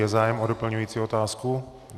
Je zájem o doplňující otázku?